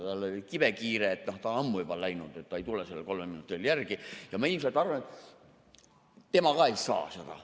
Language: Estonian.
Tal oli kibekiire, ta on ammu juba läinud, ta ei tule sellele kolmele minutile järele, ja ma arvan, et tema ilmselt ka ei saa seda.